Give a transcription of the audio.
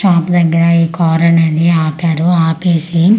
chop దెగ్గర ఈ car అనేది ఆపారు ఆపేసి ఏదో--